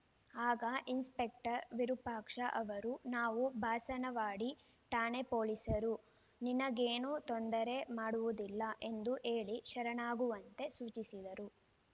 ಆಗ ಇನ್ಸ್‌ಪೆಕ್ಟರ್‌ ವಿರೂಪಾಕ್ಷ ಅವರು ನಾವು ಬಾಸಣವಾಡಿ ಠಾಣೆ ಪೊಲೀಸರು ನಿನಗೇನು ತೊಂದರೆ ಮಾಡುವುದಿಲ್ಲ ಎಂದು ಹೇಳಿ ಶರಣಾಗುವಂತೆ ಸೂಚಿಸಿದರು